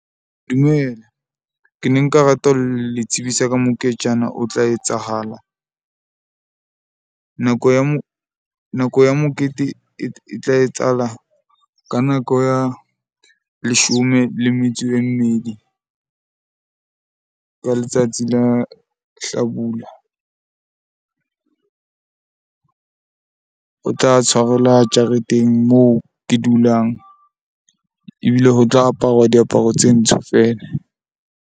Dumela ke ne nka rata ho le tsebisa ka moketjana o tla etsahala. Nako ya mokete e tla etsahala ka nako ya leshome le metso e mmedi ka letsatsi la hlabula. O tla tshwarelwa jareteng moo ke dulang, ebile ho tla aparuwa diaparo tse ntsho fela.